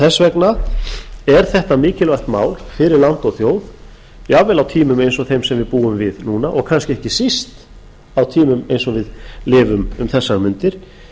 þess vegna er þetta mikilvægt mál fyrir land og þjóð jafnvel á þeim tímum sem við búum við núna og kannski ekki hvað síst á tímum eins og vi a lifum um þessar mundir